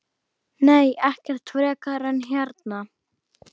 Nei, ekkert frekar en hérna.